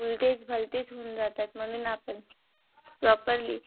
उलटेच भलतेच होऊन जातात. म्हणून आपण properly